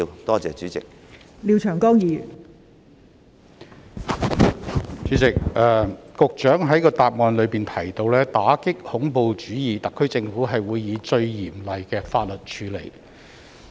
代理主席，局長在主體答覆提到："打擊恐怖主義，特區政府會以最嚴厲的法律處理"。